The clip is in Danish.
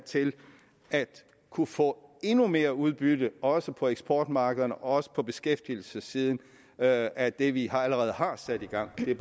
til at kunne få endnu mere udbytte også på eksportmarkederne og også på beskæftigelsessiden af af det vi allerede har sat i gang det er